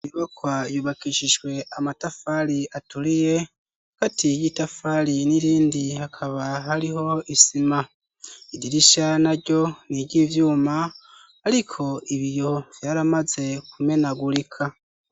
Inyubakwa yubakishijwe amatafari aturiye hagati y'itafari n'irindi hakaba hariho isima idirishya naryo niryivyuma ariko ibiyo vyaramaze kumenagurika.